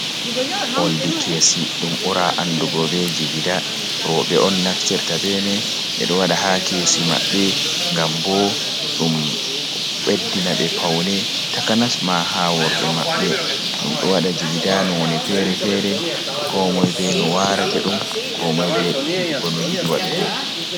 Olɗi kesi ɗum bura andugo be jigida roɓe on naftirta be mai be do wada ha kesi maɓɓe ngam ɓo ɗum ɓeddi na be paune takanas ma ha worɓe maɓbe ɗum do wada jigida none fere-fere ko moi be no warate ɗum ko moi be dudugo no yidi waɗugo.